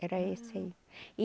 Era esse aí e